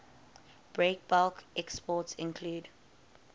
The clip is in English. breakbulk exports include